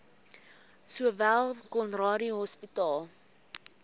sowel conradie hospitaal